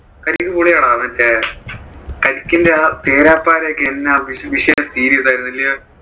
കരിക്ക് പൊളിയാടാ മറ്റേ കരിക്കിന്റെ ആ തേരാ പാരാ ഒക്കെ എന്നാ വിഷയം series ആയിരുന്ന് അല്ലെയോ?